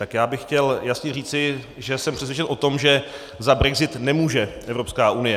Tak já bych chtěl jasně říci, že jsem přesvědčen o tom, že za brexit nemůže Evropská unie.